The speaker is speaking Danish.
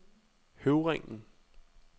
Høvringen